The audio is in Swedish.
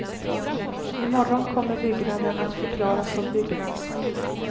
I morgon kommer byggnaden att förklaras som byggnadsminne.